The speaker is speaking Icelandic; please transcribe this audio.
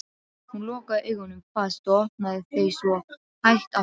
Hún lokaði augunum fast og opnaði þau svo hægt aftur.